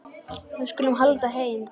Við skulum halda heim.